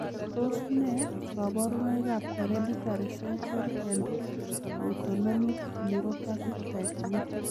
Tos nee koborunoikab Hereditary sensory and autonomic neuropathy type V?